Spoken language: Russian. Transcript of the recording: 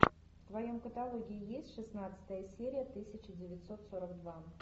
в твоем каталоге есть шестнадцатая серия тысяча девятьсот сорок два